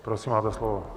Prosím, máte slovo.